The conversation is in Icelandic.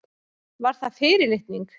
Var það fyrirlitning?